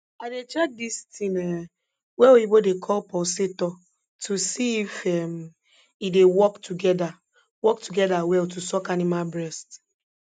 i dey check dis ting um wey oyibo dey call pulsator to see if um e dey work together work together well to suck animal breast